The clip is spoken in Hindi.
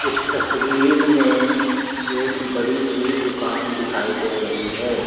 इस तस्वीर में एक बड़ी सी दुकान दिखाई दे रही है।